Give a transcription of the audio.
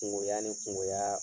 Kungoy ni kungoya